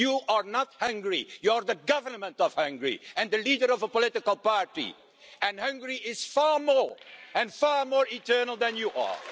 You are not Hungary, you're the government of Hungary and the leader of a political party and Hungary is far more and far more eternal than you are.